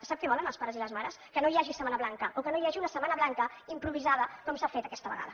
sap què volen els pares i les mares que no hi hagi setmana blanca o que no hi hagi una setmana blanca improvisada com s’ha fet aquesta vegada